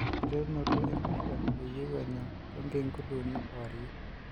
Enkiterunoto e pisha, eyieu anya Tonkei inguunduni kewarie.